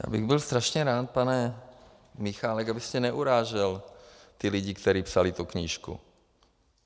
Já bych byl strašně rád, pane Michálku, abyste neurážel ty lidi, kteří psali tu knížku.